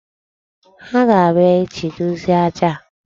Ha ga-abịa echi dozie aja a?